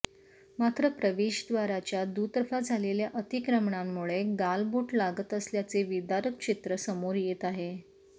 मात्र प्रवेशद्वाराच्या दुतर्फा झालेल्या अतिक्रमणांमुळे गालबोट लागत असल्याचे विदारक चित्र समोर येत आहे